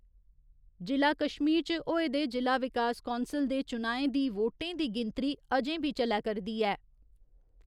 जि'ला कश्मीर च होए दे जि'ला विकास कौंसल दे चुनाएं दी वोटें दी गिनतरी अजें बी चलै करदी ऐ।